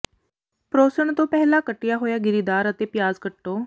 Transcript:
ਪਰੋਸਣ ਤੋਂ ਪਹਿਲਾਂ ਕੱਟਿਆ ਹੋਇਆ ਗਿਰੀਦਾਰ ਅਤੇ ਪਿਆਜ਼ ਕੱਟੋ